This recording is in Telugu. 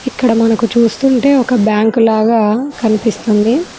ఇక్కడ మనకు చూస్తుంటే ఒక బ్యాంకు లాగా కనిపిస్తుంది.